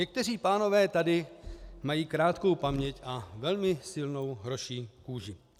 Někteří pánové tady mají krátkou paměť a velmi silnou hroší kůži.